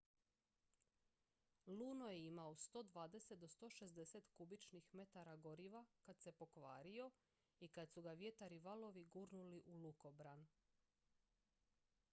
luno je imao 120-160 kubičnih metara goriva kad se pokvario i kad su ga vjetar i valovi gurnuli u lukobran